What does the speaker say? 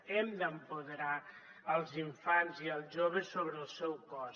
hem d’empoderar els infants i els joves sobre el seu cos